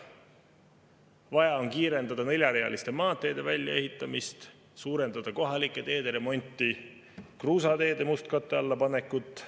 Vaja on kiirendada neljarealiste maanteede väljaehitamist, kohalike teede remonti ja kruusateede mustkatte alla panekut.